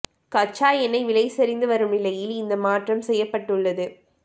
கச்சா எண்ணெய் விலை சரிந்து வரும் நிலையில் இந்த மாற்றம் செய்யப்பட்டுள்ளது